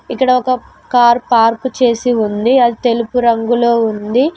ఇక్కడ ఒక car park చేసి ఉంది అది తెలుపు రంగులో ఉంది.